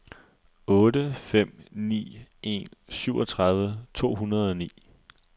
otte fem ni en syvogtredive to hundrede og ni